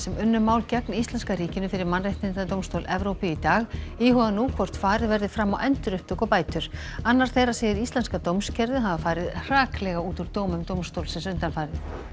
unnu mál gegn íslenska ríkinu fyrir Mannréttindadómstól Evrópu í dag íhuga nú hvort farið verði fram á endurupptöku og bætur annar þeirra segir íslenska dómskerfið hafa farið hraklega út úr dómum dómstólsins undanfarið